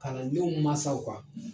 Kalandenw mansaw kan.